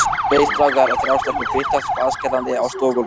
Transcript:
Tveir strákar og þrjár stelpur birtast blaðskellandi á stofugólfinu.